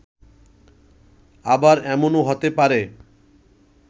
আবার এমনও হতে পারে